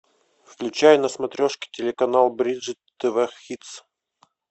включай на смотрешке телеканал бридж тв хитс